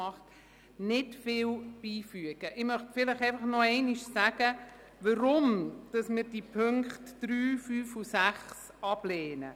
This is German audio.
Ich möchte einfach noch einmal sagen, weshalb wir die Punkte 3, 5 und 6 ablehnen.